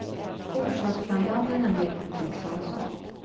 Orsakssambanden är mer komplexa än så.